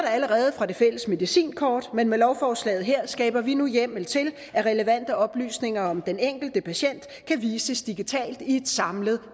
allerede fra det fælles medicinkort men med lovforslaget her skaber vi nu hjemmel til at relevante oplysninger om den enkelte patient kan vises digitalt i et samlet